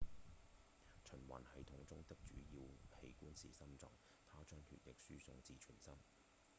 循環系統中的主要器官是心臟它將血液輸送至全身